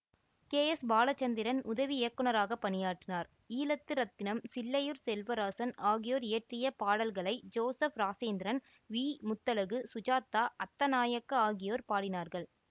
K S Balachandran உதவி இயக்குனராக பணியாற்றினார் ஈழத்து இரத்தினம் சில்லையூர் செல்வராசன் ஆகியோர் இயற்றிய பாடல்களை ஜோசப் ராசேந்திரன் விமுத்தழகு சுஜாதா அத்தநாயக்க ஆகியோர் பாடினார்கள்